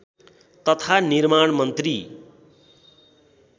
तथा निर्माण मन्त्री